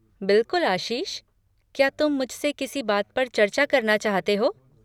बिलकुल आशीष, क्या तुम मुझसे किसी बात पर चर्चा करना चाहते हो?